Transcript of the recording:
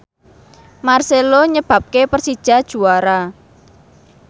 marcelo nyebabke Persija juara